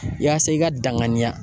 Yaasa i ka danganiya